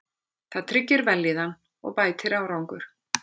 Það tryggir vellíðan og bætir árangur.